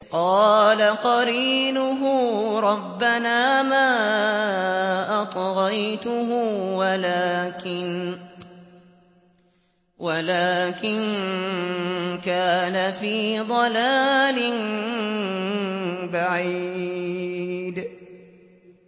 ۞ قَالَ قَرِينُهُ رَبَّنَا مَا أَطْغَيْتُهُ وَلَٰكِن كَانَ فِي ضَلَالٍ بَعِيدٍ